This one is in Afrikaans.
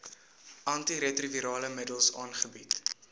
antiretrovirale middels aangebied